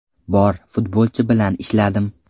Bor futbolchi bilan ishladim.